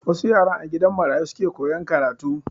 Wasu yaran a gidan marayu suke koyan karatu.